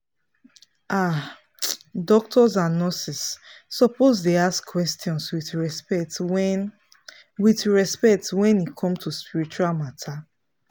ah doctors and nurses suppose dey ask questions with respect wen with respect wen e come to spiritual matter.